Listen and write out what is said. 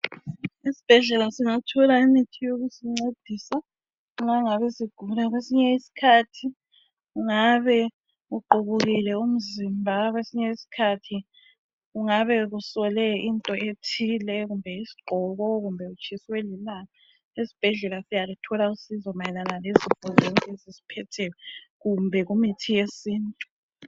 Esibhedlela singathola imithi yokusincedisa, nxa singabe sigula . Kwesinye isikhathi ungabe uqubukile umzimba. Kwesinye isikhathi ungabe kusole into ethize, kumbe yisigqoko, kumbe utshiswe lilanga. Esibhedlela siyaluthola usizo kuzo zonke izifo ezisiphetheyo. Kumbe kumithi yesintu.